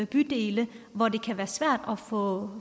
bydele hvor det kan være svært at få